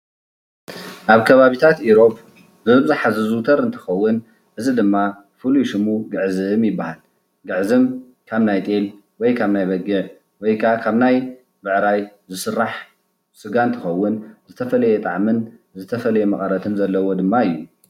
ኣብ ከባቢታት ኢሮብ በብዝሓ ዝዝውተር እንትኸውን እዚ ድማ ፍሉይ ሽሙ ግዕዝም ይባሃል፡፡ ግዕዝም ካብ ናይ ጤል ወይ ካብ ናይ በጊዕ ወይ ከዓ ካብ ናይ ብዕራይ ዝስራሕ ስጋ እንትኸውን ዝተፈለየ ጣዕምን ዝተፈለየ መቐረትን ዘለዎ ድማ እዩ፡፡